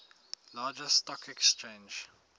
largest stock exchange